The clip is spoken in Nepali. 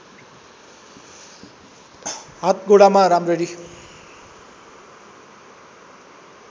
हात गोडामा राम्ररी